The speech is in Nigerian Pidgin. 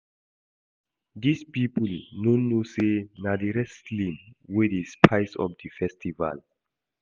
Dis people no know say na the wresting wey dey spice up the festival